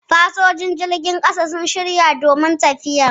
Fasinjojin jirgin ƙasan sun shirya domin tafiyar